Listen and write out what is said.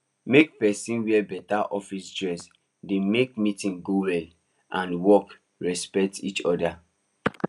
make person wear beta office dress dey make meetings go well and works respect each oda